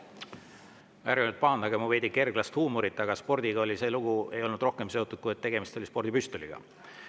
Ärge nüüd pahandage mu veidi kerglast huumorit, aga spordiga ei olnud see lugu seotud rohkem, kui et tegemist oli spordipüstoliga.